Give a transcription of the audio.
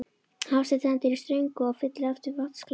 Hafsteinn stendur í ströngu og fyllir aftur vatnsglasið.